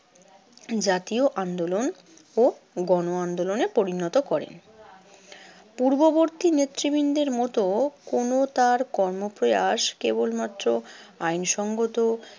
জাতীয় আন্দোলন ও গণ আন্দোলনে পরিণত করেন। পূর্ববর্তী নেতৃবৃন্দের মতো কোনো তার কর্মপ্রয়াস কেবলমাত্র আইনসংগত